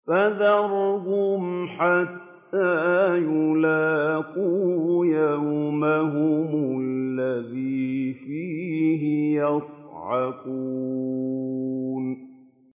فَذَرْهُمْ حَتَّىٰ يُلَاقُوا يَوْمَهُمُ الَّذِي فِيهِ يُصْعَقُونَ